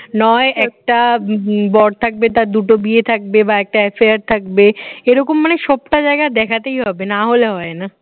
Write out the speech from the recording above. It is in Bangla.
নয় একটা বর থাকবে তার দুটো বিয়ে থাকবে বা একটা affair থাকবে এরকম মানে সবটা জায়গায় দেখাতেই হবে না হলে হয় না